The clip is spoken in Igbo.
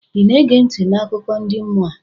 ị na-ege ntị n' akụkọ ndi mmụọ a?